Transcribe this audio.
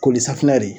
Ko ni safinɛ de ye